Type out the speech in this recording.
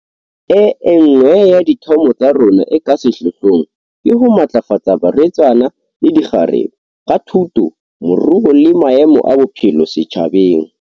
E nngwe ya dithomo tsa rona e ka sehlohlong ke ho matlafatsa barwetsana le dikgarebe, ka thuto, moruo le maemo a bophelo setjhabeng.